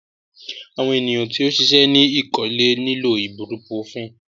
Awọn eniyan ti o ṣiṣẹ ni ikole nilo ibupurofínì